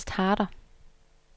Ernst Harder